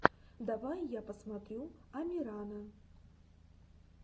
давай я посмотрю амирана